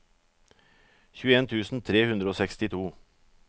tjueen tusen tre hundre og sekstito